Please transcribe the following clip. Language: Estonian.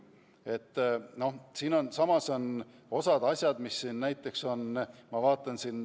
Samas, ma vaatan, et siin on osa asju näiteks toodud.